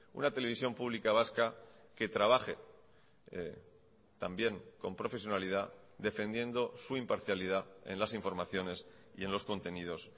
una televisión pública vasca que trabaje también con profesionalidad defendiendo su imparcialidad en las informaciones y en los contenidos